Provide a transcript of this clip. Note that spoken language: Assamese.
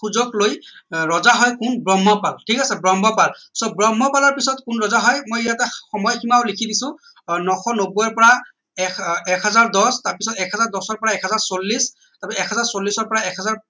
সুযোগ লৈ ৰজা হয় কোন ব্ৰহ্মপাল ঠিক আছে ব্ৰহ্মপাল so ব্ৰহ্মপালৰ পিছত কোন ৰজা হয় মই ইয়াতে সময় সীমাও লিখি দিছো নশ নব্বৈৰ পৰা এশ এক হাজাৰ দহ তাৰ পিছত এক হাজাৰ দহ পৰা এক হাজাৰ চল্লিশ এক হাজাৰ চল্লিশৰ পৰা এক হাজাৰ